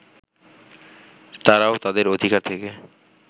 তারাও তাদের অধিকার থেকে